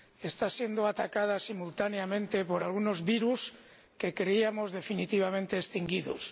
Está siendo atacada simultáneamente por algunos virus que creíamos definitivamente extinguidos.